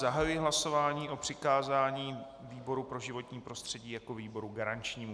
Zahajuji hlasování o přikázání výboru pro životní prostředí jako výboru garančnímu.